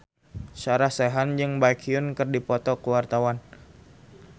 Sarah Sechan jeung Baekhyun keur dipoto ku wartawan